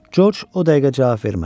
Coç o dəqiqə cavab vermədi.